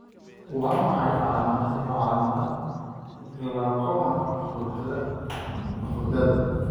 Waa maxay calaamadaha iyo calaamadaha glaucoma hurdada hurdada?